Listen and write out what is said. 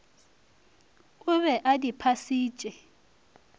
o be a di phasitše